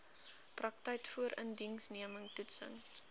praktyk voorindiensneming toetsing